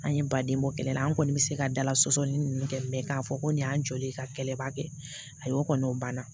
An ye ba den bɔ kɛlɛ la an kɔni bɛ se ka dala sɔsɔli ninnu kɛ mɛ k'a fɔ ko nin y'an jɔlen ka kɛlɛba kɛ a kɔni banna